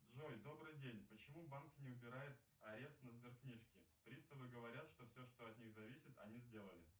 джой добрый день почему банк не убирает арест на сберкнижке приставы говорят что все что от них зависит они сделали